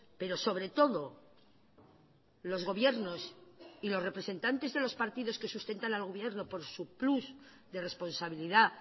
pero sobre todo los gobiernos y los representantes de los partidos que sustentan al gobierno por su plus de responsabilidad